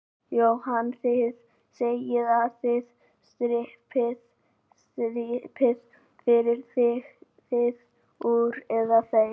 Jóhann: Þið segið að þið strippið, farið þið úr, eða þeir?